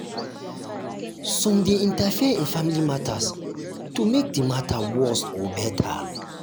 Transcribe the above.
some de interfere in family matters to make di matter worst or better